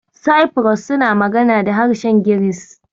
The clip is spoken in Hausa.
Cyprus suna magana da harshen Giris.